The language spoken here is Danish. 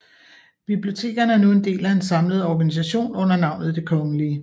Bibliotekerne er nu en del af en samlet organisation under navnet Det Kgl